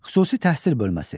Xüsusi təhsil bölməsi.